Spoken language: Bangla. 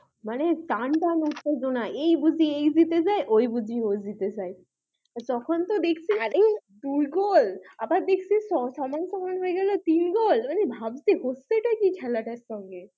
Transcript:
মনে টানটান উত্তেজনা এই বুঝি এই জিতে যাই ওই বুঝি ওই জিতে যাই তখন তো দেখছি আরে দুই গোল আবার দেখছি সম সমান হয়ে গেলো তিন গোল মানে ভাবছি হচ্ছেটা কি খেলাটার সঙ্গে?